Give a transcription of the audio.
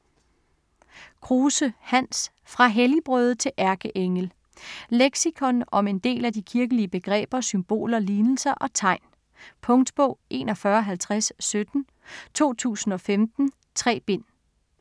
Kruse, Hans: Fra helligbrøde til ærkeengel Leksikon om en del af de kirkelige begreber, symboler, lignelser og tegn. Punktbog 415017 2015. 3 bind.